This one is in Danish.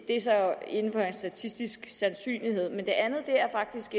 det er så inden for en statistisk sandsynlighed men det andet er faktisk